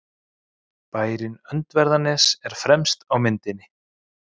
Bærinn Öndverðarnes er fremst á myndinni.